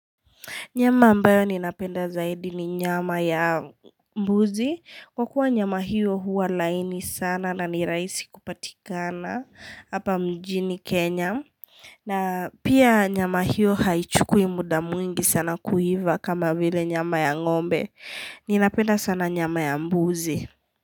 Nyama ambayo ninapenda zaidi ni nyama ya mbuzi. Kwa kuwa nyama hiyo huwa laini sana na niraisi kupatikana hapa mjini Kenya. Na pia nyama hiyo haichukui muda mwingi sana kuiva kama vile nyama ya ngombe. Ninapenda sana nyama ya mbuzi.